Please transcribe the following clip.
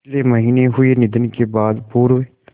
पिछले महीने हुए निधन के बाद पूर्व